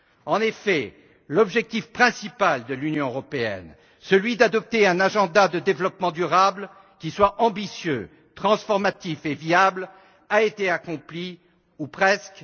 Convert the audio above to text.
En effet, l'objectif principal de l'Union européenne, celui d'adopter un agenda de développement durable qui soit ambitieux, transformatif et viable, a été accompli ou presque.